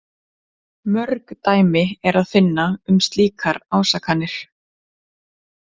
Mörg dæmi er að finna um slíkar ásakanir.